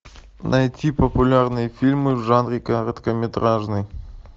найти популярные фильмы в жанре короткометражный